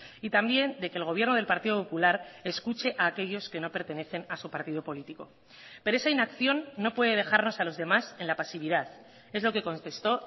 y también de que el gobierno del partido popular escuche a aquellos que no pertenecen a su partido político pero esa inacción no puede dejarnos a los demás en la pasividad es lo que contestó